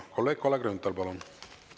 Kolleeg Kalle Grünthal, palun!